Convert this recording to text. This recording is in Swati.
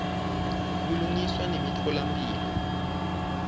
kulungiswa nemitfola mphilo